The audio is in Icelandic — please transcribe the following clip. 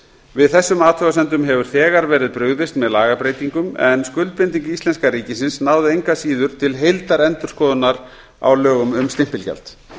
við þessum athugasemdum hefur þegar verið brugðist með lagabreytingum en skuldbinding íslenska ríkisins náði engu að síður til heildarendurskoðunar á lögum um stimpilgjald